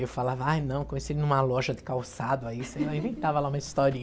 Eu falava, ai não, conheci ele numa loja de calçado, aí sei lá eu inventava lá uma historinha.